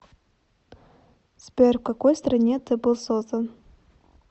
сбер в какой стране ты был создан